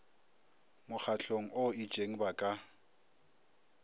mokgahlong o itšeng ba ka